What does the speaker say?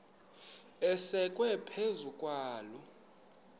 asekwe phezu kwaloo